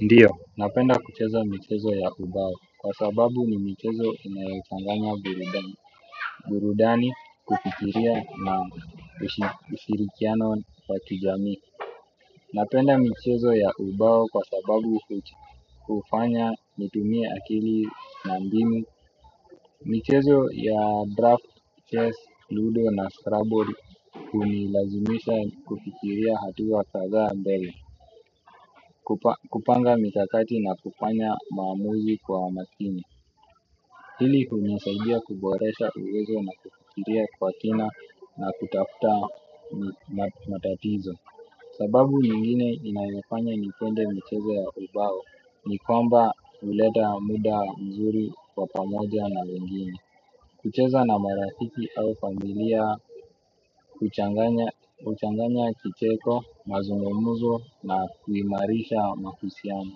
Ndiyo, napenda kucheza michezo ya ubao kwa sababu ni michezo inayochanganya burudani kufikiria na ushirikiano wa kijami. Napenda michezo ya ubao kwa sababu hufanya nitumie akili na mbinu. Michezo ya draft, chess, ludo na scrabble hunilazimisha kufikiria hatua kadhaa mbele. Kupanga mikakati na kufanya maamuzi kwa makini ili kunisaidia kuboresha uwezo na kufikiria kwa kina na kutafuta matatizo. Sababu nyingine inayofanya nipende michezo ya ubao ni kwamba huleta muda mzuri kwa pamoja na wengine. Kucheza na marafiki au familia. Kuchanganya kicheko, mazungumuzo na kuimarisha mahusiano.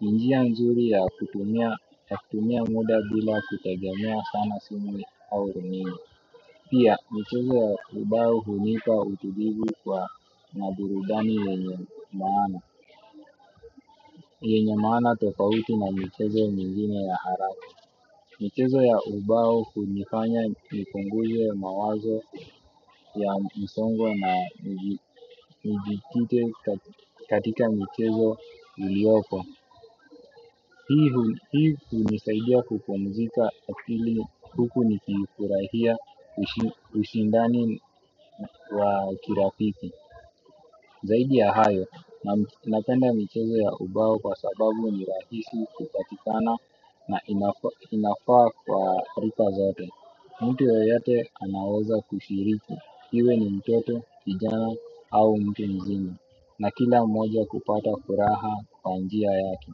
Njia njuri ya kutumia muda bila kutegemea sana simu au rununu. Pia michezo ya ubao hunipa utulivu kwa na burudani yenye maana yenye maana tofauti na michezo nyingine ya haraka. Michezo ya ubao hunifanya nipunguze mawazo ya msongo na njitite katika michezo iliopo. Hii hunisaidia kupumzika akili huku nikifurahia ushindani wa kirafiki. Zaidi ya hayo, napenda michezo ya ubao kwa sababu ni rahisi kupatikana na inafaa kwa rika zote. Mtu yeyote anaweza kushiriki, iwe ni mtoto, kijana au mtu mzima. Na kila moja kupata furaha kwa njia yake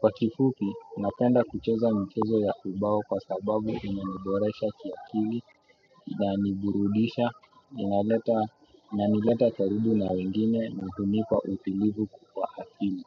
kwa kifupi napenda kucheza michezo ya ubao kwa sababu inaniboresha kiakili na niburudisha unaleta unanileta karibu na wengine na hunipa utulivu kwa akili.